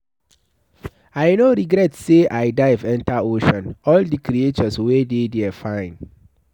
I no regret say I dive enter ocean, all the creatures wey dey there fine.